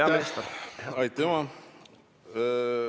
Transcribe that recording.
Aitäh!